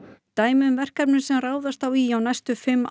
dæmi um verkefni sem ráðast á í á næstu fimm